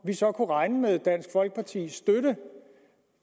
vi så kunne regne med dansk folkepartis